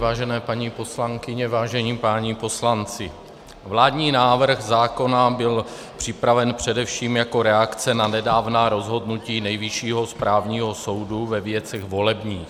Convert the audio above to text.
Vážené paní poslankyně, vážení páni poslanci, vládní návrh zákona byl připraven především jako reakce na nedávná rozhodnutí Nejvyššího správního soudu ve věcech volebních.